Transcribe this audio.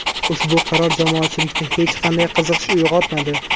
Ushbu qaror jamoatchilikda hech qanday qiziqish uyg‘otmadi.